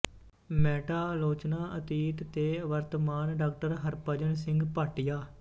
meta ਆਲੋਚਨਾ ਅਤੀਤ ਤੇ ਵਰਤਮਾਨ ਡਾ ਹਰਭਜਨ ਸਿੰਘ ਭਾਟੀਆ